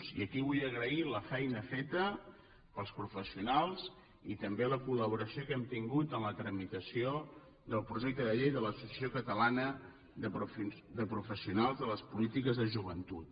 i aquí vull agrair la feina feta pels professionals i també la col·laboració que hem tingut en la tramitació del projecte de llei de l’associació catalana de professionals de les polítiques de joventut